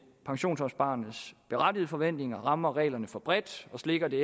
pensionsopsparernes berettigede forventninger rammer reglerne for bredt og slækker det